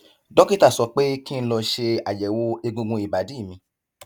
dókítà sọ pé kí n lọ ṣe àyẹwò egungun ìbàdí mi